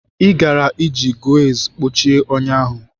Ị gaara eji gauze kpuchie ọnya ahụ.